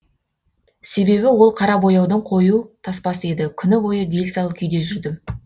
себебі ол қара бояудың қою тоспасы еді күні бойы дел сал күйде жүрдім